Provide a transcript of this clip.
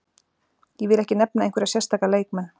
Ég vil ekki nefna einhverja sérstaka leikmenn.